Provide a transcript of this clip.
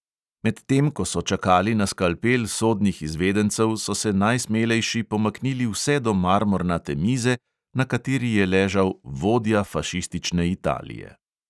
Medtem ko so čakali na skalpel sodnih izvedencev, so se najsmelejši pomaknili vse do marmornate mize, na kateri je ležal "vodja" fašistične italije.